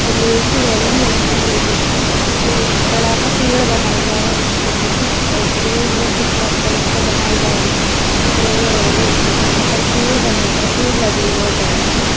लोहे की रेलिंग लगी हुई है जिस पे एक बड़ा सा पेड़ बंधा हुआ है जो कि एक रोड है फुटपाथ टाइप का बना हुआ है और रो जहाँ पे पेड़ बने हैं पेड़ लगे हुए हैं बड़ा से --